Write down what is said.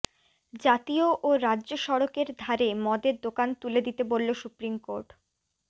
জাতীয় ও রাজ্য সড়কের ধারে মদের দোকান তুলে দিতে বলল সুপ্রিম কোর্ট